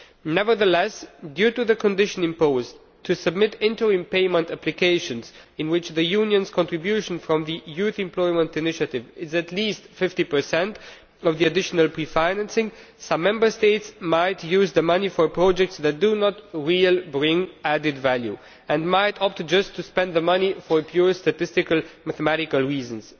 Nevertheless, due to the condition imposed to submit interim payment applications in which the European Union's contribution from the Youth Employment Initiative is at least 50 of the additional pre financing some Member States might use the money for projects that do not really bring added value and might opt just to spend the money for purely statistical and mathematical reasons.